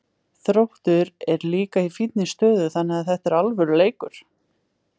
Þróttur er líka í fínni stöðu þannig að þetta er alvöru leikur.